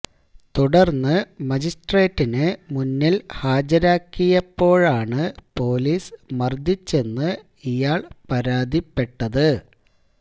തുടർന്ന് മജിസ്ട്രേറ്റിന് മുന്നിൽ ഹാജരാക്കിയപ്പോഴാണ് പൊലീസ് മർദ്ദിച്ചെന്ന് ഇയാൾ പരാതിപ്പെട്ടത്